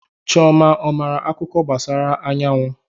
Chioma ọ maara akuko gbasara anyawu?